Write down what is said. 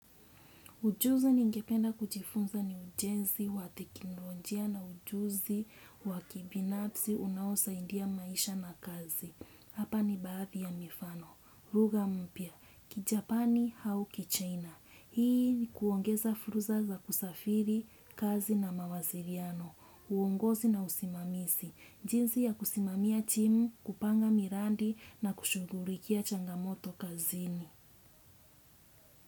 Ujuzi ni ngependa kujifunza ni ujenzi wa tekinolojia na ujuzi wakibinafsi unaosaindia maisha na kazi. Hapa ni baadhi ya mifano. Ruga mpia, kijapani hau ki china. Hii ni kuongeza furuza za kusafiri kazi na mawasiriano. Uongozi na usimamisi. Jinzi ya kusimamia timu, kupanga mirandi na kushugurikia changamoto kazini.